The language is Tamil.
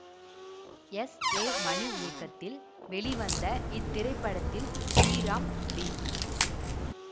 எஸ் ஏ மணி இயக்கத்தில் வெளிவந்த இத்திரைப்படத்தில் ஸ்ரீராம் டி